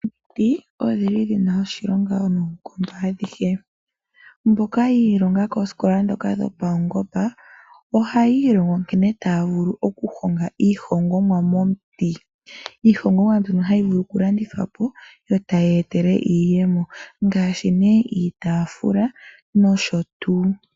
Omiti odhili dhina oshilonga noonkondo adhihe, mboka yiilonga koosikola dhoka dhopawungomba ohayi ilongo nkene taa vulu oku honga iihongomwa momuti. Iihongomwa mbino hayi vulu oku landithwa po e tayi eta iiyemo ngaashi nee iitaafula nosho tuu.